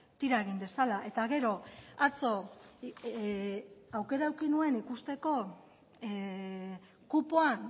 tira egin dezala eta gero atzo aukera eduki nuen ikusteko kupoan